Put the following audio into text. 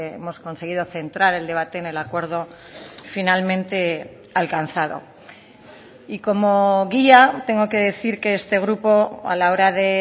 hemos conseguido centrar el debate en el acuerdo finalmente alcanzado y como guía tengo que decir que este grupo a la hora de